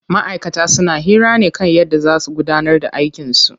Ma'aikata suna hira ne kan yadda zaa su gudanar da aikin su.